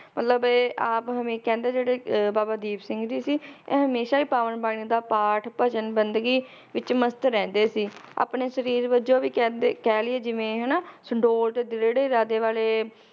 ਮਤਲਬ ਇਹ ਆਪ ਹਮੇ~ ਕਹਿੰਦੇ ਜਿਹੜੇ ਅਹ ਬਾਬਾ ਦੀਪ ਸਿੰਘ ਜੀ ਸੀ ਇਹ ਹਮੇਸ਼ਾ ਈ ਪਾਵਨ ਬਾਣੀ ਦਾ ਪਾਠ, ਭਜਨ, ਬੰਦਗੀ ਵਿਚ ਮਸਤ ਰਹਿੰਦੇ ਸੀ ਆਪਣੇ ਸ਼ਰੀਰ ਵਜੋਂ ਵੀ ਕਹਿੰਦੇ, ਕਹਿ ਲਇਏ ਜਿਵੇਂ ਹਨਾ ਸੁਡੋਲ ਤੇ ਦ੍ਰਿੜ੍ਹ ਇਰਾਦੇ ਵਾਲੇ